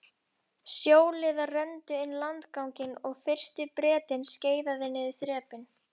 Sjóliðar renndu niður landganginum og fyrsti Bretinn skeiðaði niður þrepin.